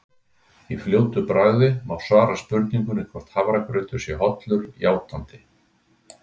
Í fljótu bragði má svara spurningunni hvort hafragrautur sé hollur játandi.